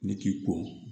Ne k'i ko